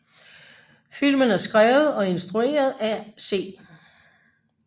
Filmen er skrevet og instrueret af C